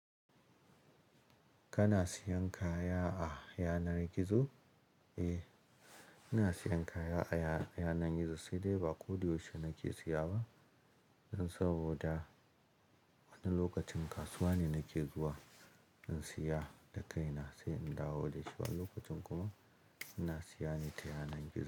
Kana siyan kaya a yanar gizo? Eh, ina siyan kaya a yana, yanar gizo, sai dai ba ko da yaushe nake siya ba. Dan saboda, wani lokacin kasuwa ne nake zuwa in siya da kaina, sai in dawo da shi, wani lokacin kuma ina siya ne ta yanar gizo.